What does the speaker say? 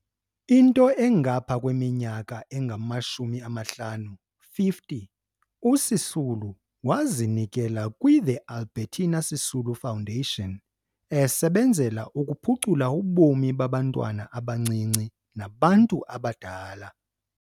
Into engapha kweminyaka engamashumi-amahlanu 50, uSisulu wazinikela kwi-The Albertina Sisulu Foundation, esebenzela ukuphucula ubomi babantwana abancinci nabantu abadala.